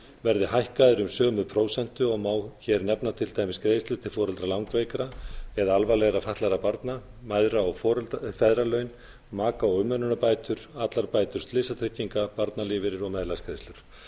verði hækkaðir um sömu prósentu og má hér til dæmis nefna greiðslu til foreldra langveikra eða alvarlegra fatlaðra barna mæðra og feðralaun maka og umönnunarbætur allar bætur slysatrygginga barnalífeyrir og meðlagsgreiðslur